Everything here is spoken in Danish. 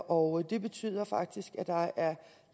og det betyder faktisk at